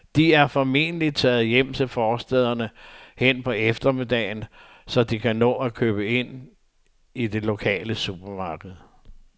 De er formentlig taget hjem til forstæderne hen på eftermiddagen, så de kan nå at købe ind i det lokale supermarked.